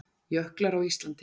Jöklar á Íslandi.